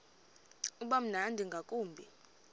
uba mnandi ngakumbi